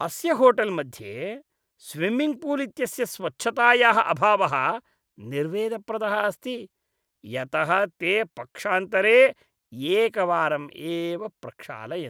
अस्य होटेल् मध्ये swimming pool इत्यस्य स्वच्छतायाः अभावः निर्वेदप्रदः अस्ति, यतः ते पक्षान्तरे एकवारम् एव प्रक्षालयन्ति।